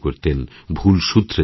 ভুল সুধরে দিতেন